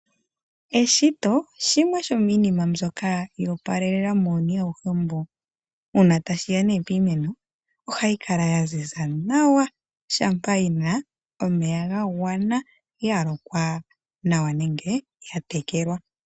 Eshito shimwe shomiinima mbyoka yoopalelalela muuyuni awuhe mbu. Uuna tashiya piimeno ohayi kala yaziza nawa shampa yina omeya ga gwana yalokwa nenge yatekelwa.